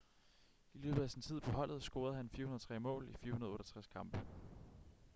i løbet af sin tid på holdet scorede han 403 mål i 468 kampe